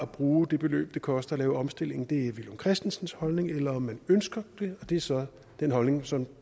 bruge det beløb det koster at lave omstillingen det er villum christensens holdning eller om man ønsker at det og det er så den holdning som